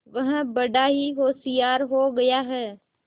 वह बड़ा ही होशियार हो गया है